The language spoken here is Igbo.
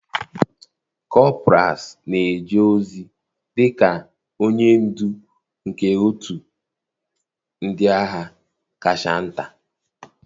Kọpras na-eje ozi dị ka onye ndu nke otu ndị agha kacha nta.